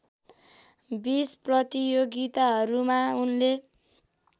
बीस प्रतियोगिताहरूमा उनले